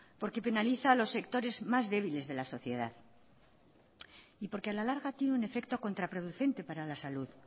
porque penaliza a los sectores más débiles de la sociedad y porque a la larga tiene un efecto contraproducente para la salud